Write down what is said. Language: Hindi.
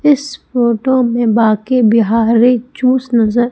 इस फोटो मे बांके बिहारी जूस नजर--